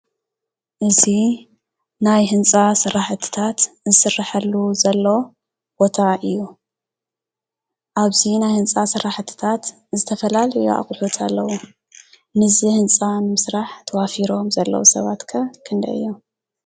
እዚ ናይ ህንፃ ስራሕቲታት ዝስረሓሉ ዘሎ ቦታ እዩ፡፡ ኣብዚ ናይ ህንፃ ስራሕቲታት ዝተፈላለዩ ኣቑሕታት ኣለዉ፡፡ ነዚ ህንፃ ንምስራሕ ተዋፊሮም ዘለዉ ሰባት ከ ክንደይ እዮም?